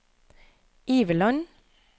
Iveland